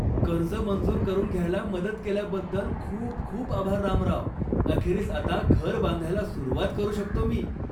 कर्ज मंजूर करून घ्यायला मदत केल्याबद्दल खूप खूप आभार रामराव. अखेरीस आता घर बांधायला सुरुवात करू शकतो मी.